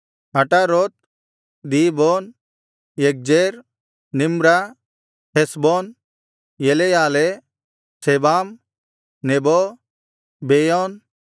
ಅಟಾರೋತ್ ದೀಬೋನ್ ಯಗ್ಜೇರ್ ನಿಮ್ರಾ ಹೆಷ್ಬೋನ್ ಎಲೆಯಾಲೆ ಸೆಬಾಮ್ ನೆಬೋ ಬೆಯೋನ್